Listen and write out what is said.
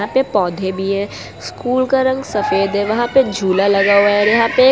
यहां पे पौधे भी है स्कूल का रंग सफेद है वहां पे झूला लगा हुआ है यहां पे --